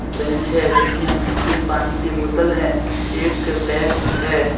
Bench है जिसमें तीन पानी के बोतल है एक बैग है।